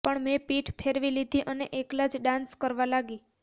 પણ મેં પીઠ ફેરવી લીધી અને એકલા જ ડાન્સ કરવા લાગી